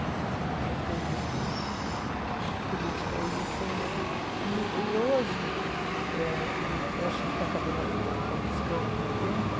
Mas depois que eu vi que política é isso... E e hoje, eh que eu estou achando que está acabando a fita porque está piscando o meu tempo,